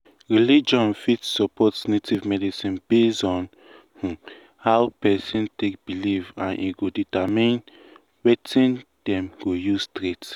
religion fit support native medicine based on um how person take believe and e go determine wetin dem go use treat.